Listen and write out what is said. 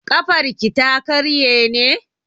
Ƙafarki ta karye ne?